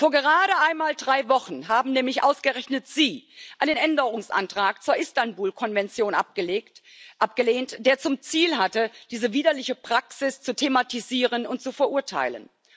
Vor gerade einmal drei Wochen haben nämlich ausgerechnet sie einen Änderungsantrag zur Istanbul Konvention abgelehnt, der zum Ziel hatte, diese widerliche Praxis zu thematisieren und zu verurteilen.